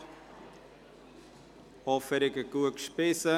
Ich hoffe, Sie haben gut gespeist.